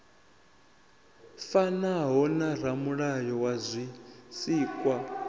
fanaho na ramulayo wa zwisikwa